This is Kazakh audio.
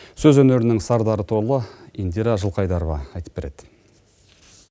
сөз өнерінің сардары туралы индира жылқайдарова айтып береді